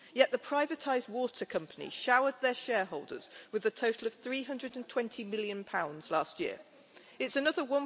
Yet the privatised water company showered their shareholders with a total of GBP 320 million last year. It's another